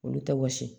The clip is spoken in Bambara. Olu tɛ wɔsi